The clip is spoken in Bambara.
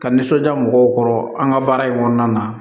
Ka nisɔndiya mɔgɔw kɔrɔ an ka baara in kɔnɔna na